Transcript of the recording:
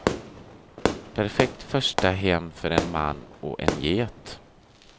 Perfekt första hem för en man och en get.